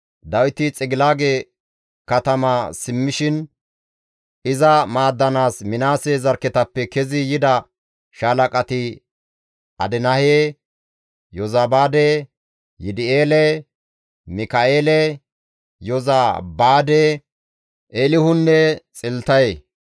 Dawiti Xigilaage katama simmishin iza maaddanaas Minaase zarkketappe kezi yida shaalaqati Adinahe, Yozabaade, Yidi7eele, Mika7eele, Yozabaade, Eelihunne Xiltaye.